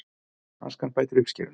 Askan bætir uppskeruna